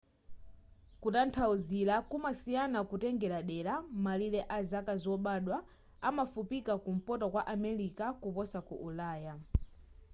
kutanthauzira kumasiyana kutengela dera malire a zaka zobadwa amafupika ku mpoto kwa america kuposa ku ulaya